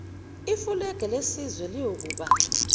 ifulege lesizwe liyakuba